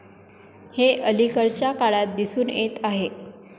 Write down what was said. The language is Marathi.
हे अलीकडच्या काळात दिसून येत आहे.